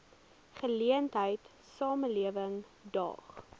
geleentheid samelewing daag